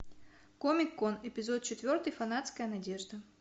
комик кон эпизод четвертый фанатская надежда